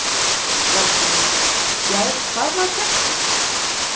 LANDSHÖFÐINGI: Já, hvað var gert við þá?